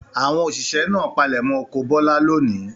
Àwọn òṣìṣẹ́ náà palẹ̀mọ́ oko Bọ́lá lónìí.